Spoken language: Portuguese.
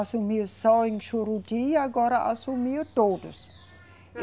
Assumiu só em Juruti, agora assumiu todos.